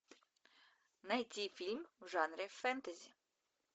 найти фильм в жанре фэнтези